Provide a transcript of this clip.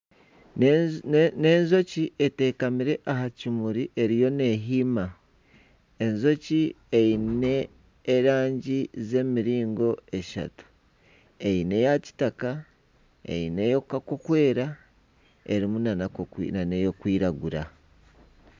Ni enjoki etekamire aha kimuri eriyo nehiima . Enjoki eine erangi z'emiringo eshatu eine eya kitaka, eine ey'okweera ,erimu nana ey'okwiragura.